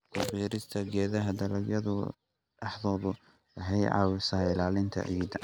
Ku beerista geedaha dalagyada dhexdooda waxay caawisaa ilaalinta ciidda.